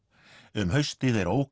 um haustið er